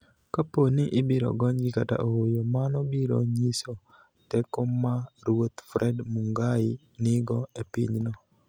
Kapo nii ibiro goniygi kata ooyo, mano biro niyiso teko ma ruoth Fred Munigaii niigo e piny no.